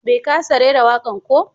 Bai ƙasa raira wakan ko?